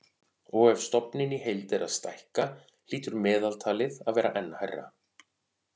Og ef stofninn í heild er að stækka hlýtur meðaltalið að vera enn hærra.